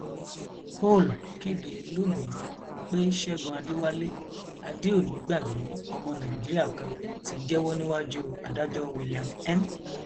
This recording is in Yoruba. hóòl kéde lónìín pé ṣẹgun adéwálé adéonígbàgbé omo nàìjíríà kan ti jẹwọ níwájú adájọ william m